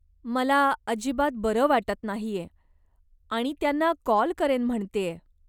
मला अजिबात बरं वाटत नाहीये आणि त्यांना कॉल करेन म्हणतेय.